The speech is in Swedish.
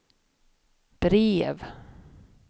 brev